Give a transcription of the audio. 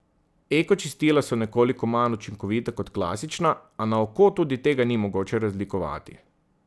Eko čistila so nekoliko manj učinkovita kot klasična, a na oko tudi tega ni mogoče razlikovati.